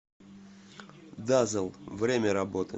дазэл время работы